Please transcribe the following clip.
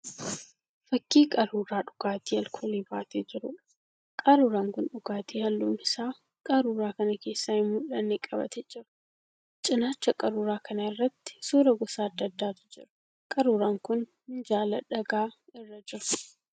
Fakkii qaruuraa dhugaatii alkoolii baatee jiruudha. Qaruuraan kun dhugaati halluun isaa qaruuraa kana keessaa hin mul'anne qabatee jira. Cinaacha qaruuraa kana irratti suura gosa adda addaatu jira. Qaruuraan kun minjaala dhagaa irra jira.